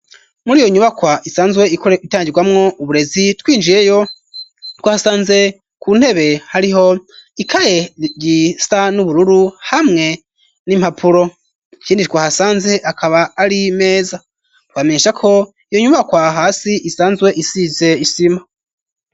Muri iyo nyubakwa isanzwe itangirwamwo uburezi ,twinjiyeyo twasanze ku ntebe ariho ikaye yisa n'ubururu ,hamwe n'impapuro ikindi twahasanze akaba ari Imeza, twamenyesha ko, iyo nyubakwa hasi isanzwe isize isima.